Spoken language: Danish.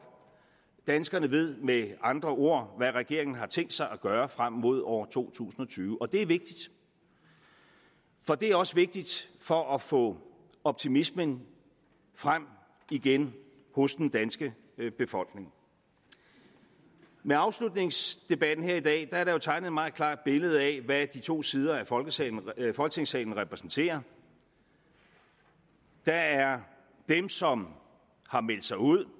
danskerne ved med andre ord hvad regeringen har tænkt sig at gøre frem mod år to tusind og tyve og det er vigtigt for det er også vigtigt for at få optimismen frem igen hos den danske befolkning med afslutningsdebatten her i dag har der jo tegnet meget klart billede af hvad de to sider af folketingssalen folketingssalen repræsenterer der er dem som har meldt sig ud